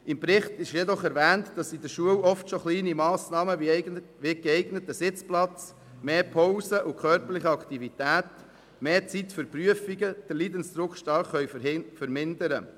Im Bericht ist allerdings erwähnt, dass in der Schule oft schon kleine Massnahmen wie ein geeigneter Sitzplatz, mehr Pausen und körperlich Aktivität, mehr Zeit für Prüfungen, den Leidensdruck stark vermindern können.